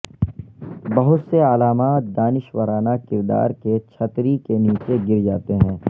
بہت سے علامات دانشورانہ کردار کے چھتری کے نیچے گر جاتے ہیں